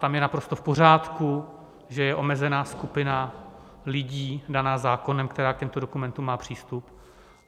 Tam je naprosto v pořádku, že je omezená skupina lidí daná zákonem, která k těmto dokumentům má přístup.